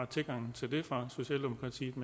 tilgang til det fra socialdemokratiets